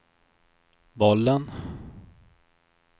bollen